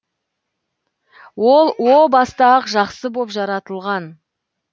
ол о баста ақ жақсы боп жаратылған